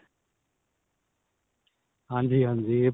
ਹਾਂਜੀ ਹਾਂਜੀ.